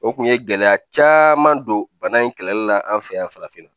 O kun ye gɛlɛya caman don bana in kɛlɛli la an fɛ yan farafinna